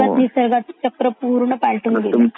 हुं आणि ह्या वृक्षतोड़ी मुळे असा झाल निसर्गाचा चक्र पूर्ण पालटून गेला